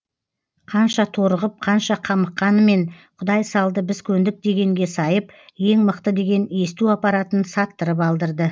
қанша торығып қанша қамыққанымен құдай салды біз көндік дегенге сайып ең мықты деген есту аппаратын саттырып алдырды